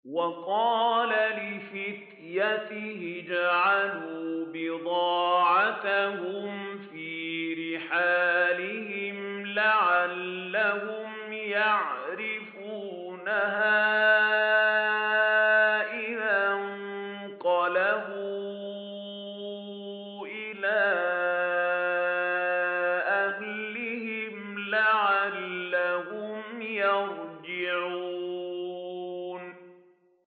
وَقَالَ لِفِتْيَانِهِ اجْعَلُوا بِضَاعَتَهُمْ فِي رِحَالِهِمْ لَعَلَّهُمْ يَعْرِفُونَهَا إِذَا انقَلَبُوا إِلَىٰ أَهْلِهِمْ لَعَلَّهُمْ يَرْجِعُونَ